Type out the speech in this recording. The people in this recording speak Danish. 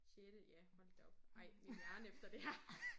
Sjette ja hold da op ej min hjerne efter det her